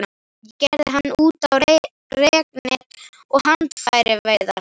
Ég gerði hann út á reknet og handfæraveiðar.